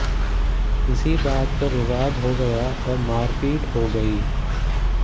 इसी बात पर विवाद हो गया और मारपीट हो गई